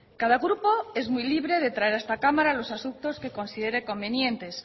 cada grupo es muy libre de traer a esta cámara los asuntos que considere convenientes